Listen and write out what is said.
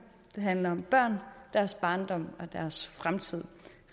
det handler om børn deres barndom og deres fremtid